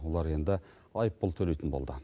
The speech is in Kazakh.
олар енді айыппұл төлейтін болды